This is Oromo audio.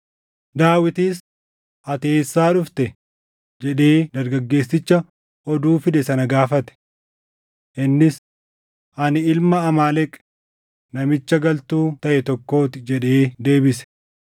Daawitis, “Ati eessaa dhufte?” jedhee dargaggeessicha oduu fide sana gaafate. Innis, “Ani ilma Amaaleq, namicha galtuu taʼe tokkoo ti” jedhee deebise.